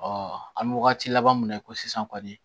an bɛ wagati laban min na i ko sisan kɔni